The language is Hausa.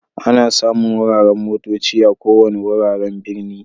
Ana samun wuraren motocci a ko wanni wuraren birni.